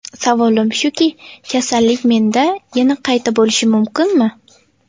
Savolim shuki, kasallik menda yana qayta bo‘lishi mumkinmi?